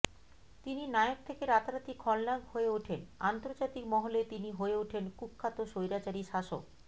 তিনি নায়ক থেকে রাতারাতি খলনায়ক হয়ে ওঠেন আন্তর্জাতিক মহলে তিনি হয়ে ওঠেন কুখ্যাত স্বৈরাচারী শাসক